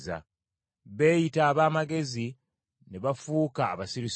Beeyita ab’amagezi ne bafuuka abasirusiru,